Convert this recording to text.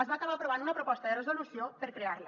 es va acabar aprovant una proposta de resolució per crear la